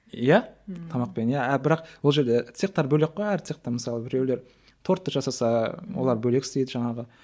иә тамақпен иә бірақ ол жерде цехтар бөлек қой әр цехта мысалы біреулер тортты жасаса олар бөлек істейді жаңағы